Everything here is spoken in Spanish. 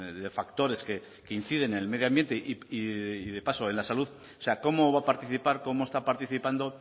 de factores que inciden en el medio ambiente y de paso en la salud o sea cómo va a participar cómo está participando